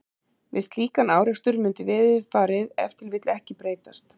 við slíkan árekstur mundi veðurfarið ef til vill ekki breytast